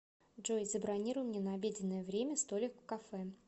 джой забронируй мне на обеденное время столик в кафе